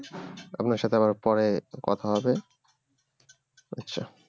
আপনার সাথে আবার পরে কথা হবে আচ্ছা